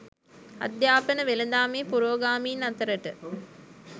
අධ්‍යාපන වෙළඳාමේ පුරෝගාමින් අතරට